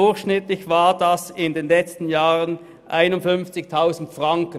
Diese betrugen in den letzten Jahren durchschnittlich 51 000 Franken.